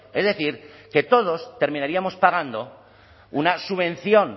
es decir que todos terminaríamos pagando una subvención